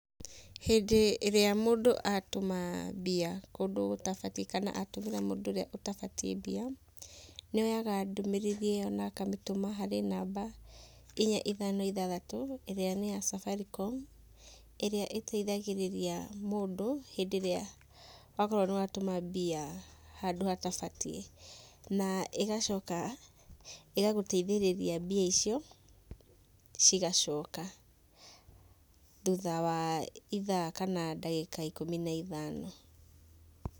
Hĩndĩ ĩrĩa mũndũ atũma mbia kũndũ gũtabatiĩ kana atũmĩra mũndũ ũrĩa ũtabatiĩ mbia, nĩ oyaga ndũmĩrĩri ĩyo na akamĩtũma harĩ namba inya ithano ithathatũ, ĩrĩa nĩ ya Safaricom, ĩrĩa ĩteithagĩrĩria mũndũ hĩndĩ ĩrĩa akorwo nĩ watũma mbia handũ hatabatiĩ. Na ĩgacoka ĩgagũteithĩrĩria mbia icio cigacoka thutha wa ithaa kana ndagĩka ikũmi na ithano.